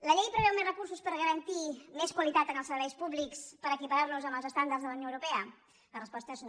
la llei preveu més recursos per garantir més qualitat en els serveis públics per equiparar nos amb els estàndards de la unió europea la resposta és no